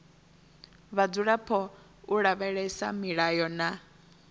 vhadzulapo u lavhelesa milayo na